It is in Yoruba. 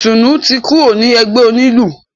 Ìtùnú ti kúrò ní ẹgbẹ́ onílù.